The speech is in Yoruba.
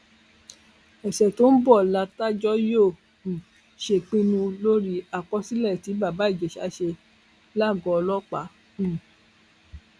ọṣẹ tó ń bọ látajọ yóò um ṣèpinnu lórí àkọsílẹ tí bàbá ìjèṣà ṣe lágọọ ọlọpàá um